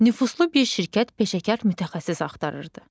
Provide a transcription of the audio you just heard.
Nüfuzlu bir şirkət peşəkar mütəxəssis axtarırdı.